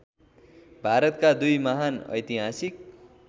भारतका दुई महान् ऐतिहासिक